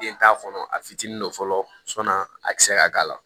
Den t'a kɔnɔ a fitinin don fɔlɔ sɔnni a kisɛ ka k'a la